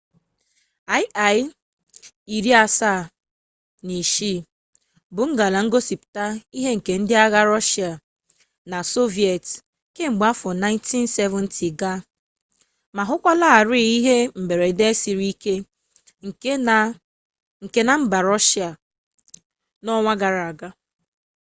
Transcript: il-76 bụ ngalaba gbapụtara ihe nke ndị agha rọshịa na sọviyetị kamgbe afọ 1970 ga ma hụkwalarị ihe mberede siri oke ike na mba rọshịa n'ọnwa gara aga